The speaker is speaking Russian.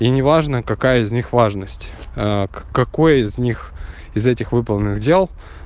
и не важно какая из них важность какой из них из этих выполненных дел